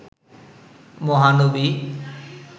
মহানবী